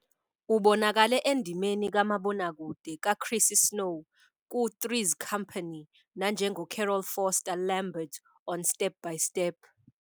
Ubonakale endimeni kamabonakude kaChrissy Snow ku- "Three's Company" nanjengoCarol Foster Lambert on "Step by Step."